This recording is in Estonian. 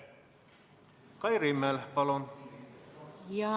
Kai Rimmel, palun!